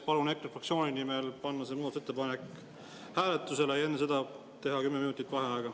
Palun EKRE fraktsiooni nimel panna see muudatusettepanek hääletusele ja enne seda teha kümme minutit vaheaega.